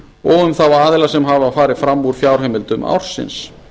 og um þá aðila sem hafa farið fram úr fjárheimildum ársins